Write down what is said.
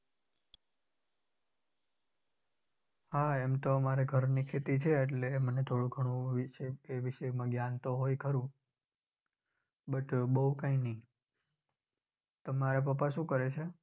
હા એમ તો અમારે ઘરની ખેતી છે એટલે મને થોડુ ગણું એ વિશે એ વિષયમાં જ્ઞાન તો હોય ખરુ but બહુ કઈ નઈ. તમારે પપ્પા શું કરે છે?